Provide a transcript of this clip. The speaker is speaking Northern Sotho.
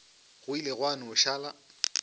go ile gwa no šala